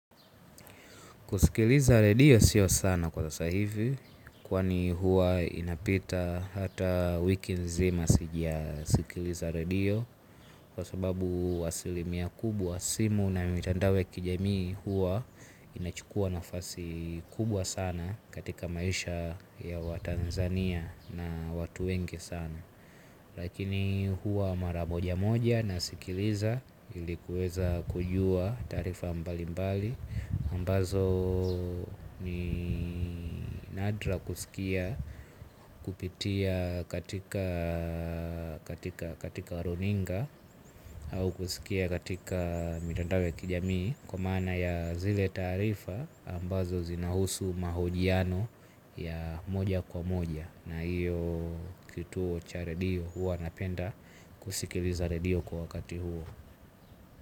Kusikiliza redio sio sana kwa sasa hivi kwani huwa inapita hata wiki nzima sija sikiliza redio. Kwa sababu asilimia kubwa simu na mitandao kijamii huwa inachukua nafasi kubwa sana katika maisha ya wa Tanzania na watu wengi sana lakini huwa mara moja moja na sikiliza ilikuweza kujua tarifa mbali mbali ambazo ni nadra kusikia kupitia katika katika runinga au kusikia katika mitandao ya kijamii kwa maana ya zile tarifa ambazo zinahusu mahojiano ya moja kwa moja na hiyo kituo cha redio huwa napenda kusikiliza redio kwa wakati huo.